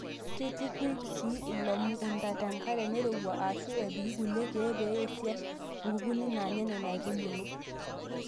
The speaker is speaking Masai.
Keitukui sii ilo mukunta te nkare nairowua ashuu epiki kulie keek pee eisiash nkukuni naanya Nena aitubulu.